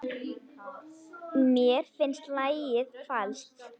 Mér finnst lagið falskt.